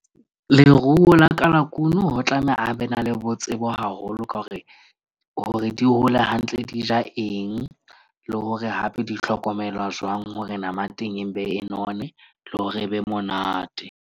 Leruo la kalakuno ho tlameha a be na le bo tsebo haholo ka hore hore di hole hantle, di ja eng, le hore hape di hlokomelwa jwang hore nama ya teng e mpe e none, le hore e be monate.